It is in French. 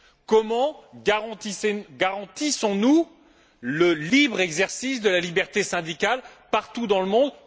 Comment garantissons nous le libre exercice de la liberté syndicale partout dans le monde?